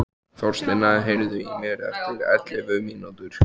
Þorsteina, heyrðu í mér eftir ellefu mínútur.